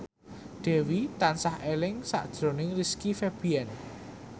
Dewi tansah eling sakjroning Rizky Febian